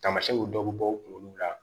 Taamasiyɛnw dɔ bɛ bɔ u kunkolo la